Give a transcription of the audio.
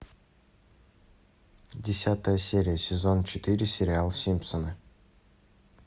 десятая серия сезон четыре сериал симпсоны